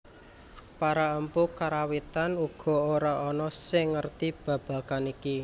Para empu Karawitan uga ora ana sing ngerti babagan iki